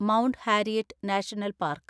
mount Harriet National park